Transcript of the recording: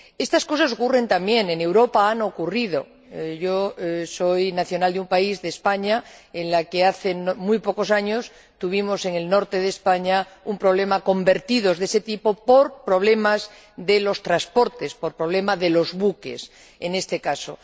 Estas cosas ocurren también en Europa. Han ocurrido. Soy nacional de un país, España, en el que hace muy pocos años tuvimos —en el norte del país— un problema con vertidos de ese tipo por problemas de los transportes, por problema de los buques, en ese caso.